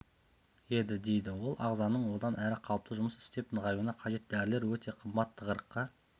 еді дейді ол ағзаның одан әрі қалыпты жұмыс істеп нығаюына қажет дәрілер өте қымбат тығырыққа